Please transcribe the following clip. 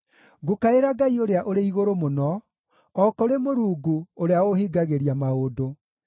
Ngũkaĩra Ngai-Ũrĩa-ũrĩ-Igũrũ-Mũno, o kũrĩ Mũrungu, ũrĩa ũũhingagĩria maũndũ.